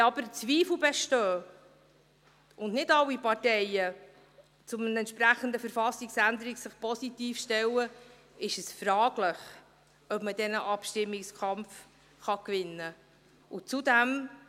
Wenn aber Zweifel bestehen, und nicht alle Parteien sich zu einer entsprechenden Verfassungsänderung positiv stellen, ist es fraglich, ob man denn einen Abstimmungskampf gewinnen kann.